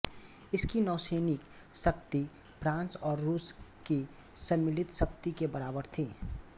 इसकी नौसैनिक शक्ति फ्रांस और रूस की सम्मिलित शक्ति के बराबर थी